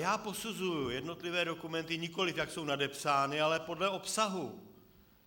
Já posuzuji jednotlivé dokumenty, nikoli jak jsou nadepsány, ale podle obsahu.